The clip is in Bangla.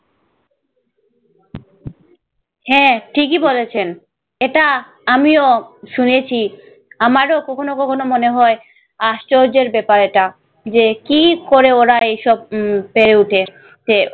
হ্যাঁ ঠিকই বলেছেন, এটা আমিও শুনেছি। আমারও কখনো কখনো মনে হয় আশ্চর্যের ব্যাপার এটা যে কী করে ওরা এইসব উম পেরে উঠে ছে!